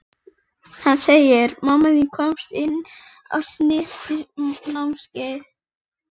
Hitaveita Dalabyggðar formlega ræst af iðnaðarráðherra í dæluhúsinu við Fellsenda.